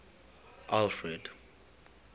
alfred